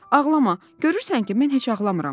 Ağlama, görürsən ki, mən heç ağlamıram."